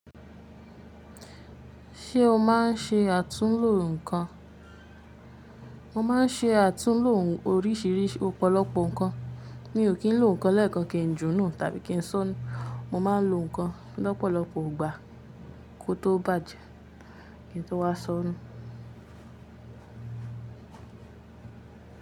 Ṣé o máa ń ṣe àtúnlò ǹkan? Mo máa ń ṣe àtúnlò oríṣìíríṣìí ọ̀pọ̀lọpọ̀ ǹkan. Mi ò kí ń lo ǹkan lẹ́ẹ̀kan kí ń junu tàbí kí ń ṣọ́nú, mo máa ń lo ǹkan lọ́pọ̀lọpọ̀ ìgbà kó tó bàjẹ́ kí n tó wá ṣọ́nú.